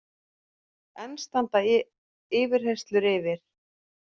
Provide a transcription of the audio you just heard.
Enn standa yfirheyrslur yfir